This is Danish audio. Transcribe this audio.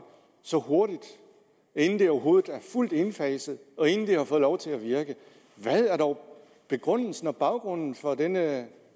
så hurtigt inden det overhovedet er fuldt indfaset og inden det har fået lov til at virke hvad er dog begrundelsen og baggrunden for denne